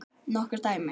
Nokkur dæmi?